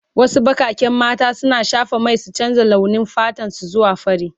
Wasu bakaken mata suna shafa mai su canza launi fatan su zuwa fari.